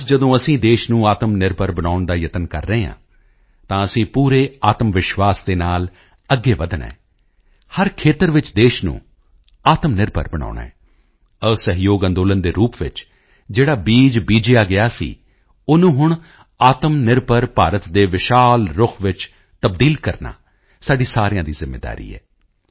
ਅੱਜ ਜਦੋਂ ਅਸੀਂ ਦੇਸ਼ ਨੂੰ ਆਤਮਨਿਰਭਰ ਬਣਾਉਣ ਦਾ ਯਤਨ ਕਰ ਰਹੇ ਹਾਂ ਤਾਂ ਅਸੀਂ ਪੂਰੇ ਆਤਮਵਿਸ਼ਵਾਸ ਦੇ ਨਾਲ ਅੱਗੇ ਵਧਣਾ ਹੈ ਹਰ ਖੇਤਰ ਵਿੱਚ ਦੇਸ਼ ਨੂੰ ਆਤਮਨਿਰਭਰ ਬਣਾਉਣਾ ਹੈ ਅਸਹਿਯੋਗ ਅੰਦੋਲਨ ਦੇ ਰੂਪ ਵਿੱਚ ਜਿਹੜਾ ਬੀਜ ਬੀਜਿਆ ਗਿਆ ਸੀ ਓਹਨੂੰ ਹੁਣ ਆਤਮਨਿਰਭਰ ਭਾਰਤ ਦੇ ਵਿਸ਼ਾਲ ਰੁੱਖ ਵਿੱਚ ਤਬਦੀਲ ਕਰਨਾ ਸਾਡੀ ਸਾਰਿਆਂ ਦੀ ਜ਼ਿੰਮੇਵਾਰੀ ਹੈ